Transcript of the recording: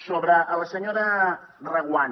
sobre la senyora reguant